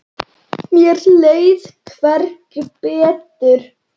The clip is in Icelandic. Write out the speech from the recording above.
Mér leið hvergi betur.